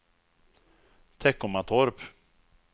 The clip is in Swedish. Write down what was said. Teckomatorp